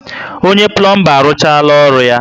Onye pulomba arụchaala orụ ya?